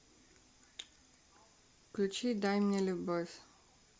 включи дай мне любовь